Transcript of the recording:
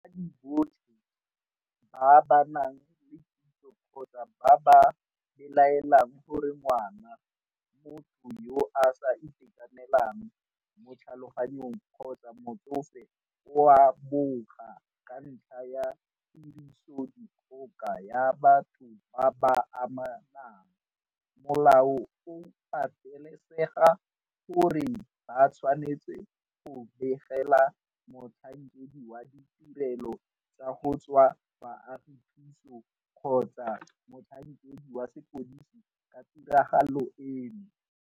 Batsadi botlhe ba ba nang le kitso kgotsa ba ba belaelang gore ngwana, motho yo a sa itekanelang mo tlhaloganyong kgotsa motsofe o a boga ka ntlha ya tirisodikgoka ya batho ba ba amanang, molao o patelesega gore ba tshwanetse go begela motlhankedi wa ditirelo tsa go tswa baagi thuso kgotsa motlhankedi wa sepodisi ka tiragalo eno.